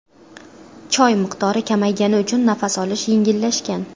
Choy miqdori kamaygani uchun nafas olish yengillashgan.